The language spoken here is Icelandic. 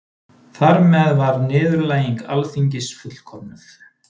Þar með var niðurlæging Alþingis fullkomnuð